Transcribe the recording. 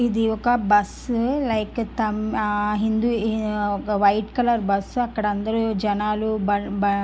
ఇది ఒక బస్సు . లికెత్తామ్ ఆమ్ ఒక వైట్ కలర్ బస్సు . అక్కడ అందరూ జెనాలు బాబా బ --